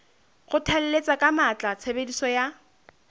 kgothalletsa ka matla tshebediso ya